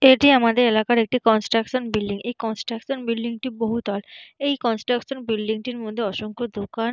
এটি আমাদের এলাকার একটি কনস্ট্রাকশন বিল্ডিং এই কনস্ট্রাকশন বিল্ডিং -টি বহুতল এই কনস্ট্রাকশন বিল্ডিং -টির মধ্যে অসংখ্য দোকান--